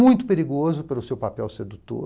Muito perigoso pelo seu papel sedutor.